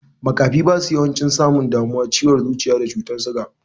Makafi basu yawancin samun damuwan ciwon zuciya da cutar suga.